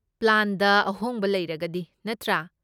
ꯄ꯭ꯂꯥꯟꯗ ꯑꯍꯣꯡꯕ ꯂꯩꯔꯒꯗꯤ ꯅꯠꯇ꯭ꯔꯥ?